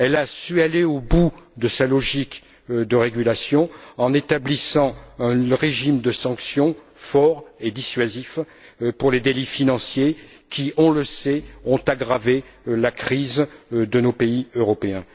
Elle a su aller au bout de sa logique de régulation en établissant un régime de sanctions fort et dissuasif pour les délits financiers qui on le sait ont aggravé la crise de nos pays européens.